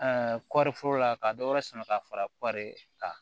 kɔɔri foro la ka dɔ wɛrɛ sama ka fara kɔɔri kan